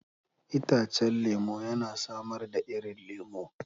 Itacen lemu yana samar da irin lemu.